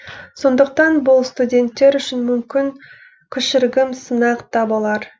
сондықтан бұл студенттер үшін мүмкін кішіргім сынақ та болар